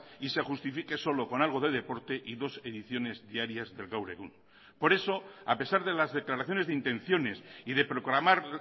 y se justifique solo con algo de deporte y dos ediciones diarias del gaur egun por eso a pesar de las declaraciones de intenciones y de proclamar